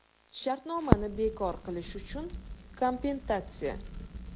Shartnomani bekor qilish uchun kompensatsiya?